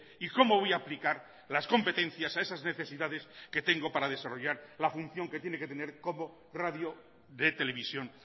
y cómo voy a aplicar las competencias a esas necesidades que tengo para desarrollar la función que tiene que tener como radio de televisión